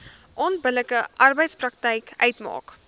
onbillike arbeidspraktyk uitmaak